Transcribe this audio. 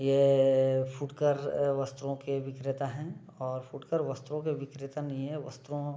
ये फुटकर वस्त्रो के विक्रेता है और फुटकर वस्त्रों के विक्रेता नहीं है वस्त्रों --